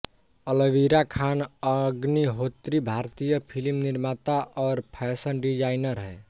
अलवीरा खान अग्निहोत्री भारतीय फ़िल्म निर्माता और फ़ैशन डिज़ाइनर हैं